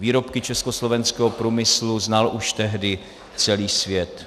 Výrobky československého průmyslu znal už tehdy celý svět.